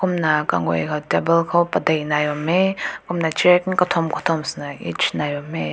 kum na kagüa koi table ko padink nai bam mei kum na chair katum katum sene nai bam hae.